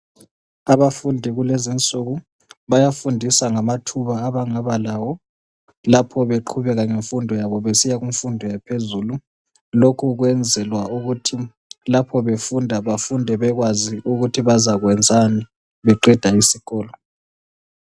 Abafundi kulezi nsuku bayafundiswa ngamathuba abangaba lawo lapho beqhubeka ngemfundo yabo besiya phezulu lokhu kwenzelwa ukuthi lapho befunda befunde bekwazi ukuthi bazakwenzani beqeda isikolo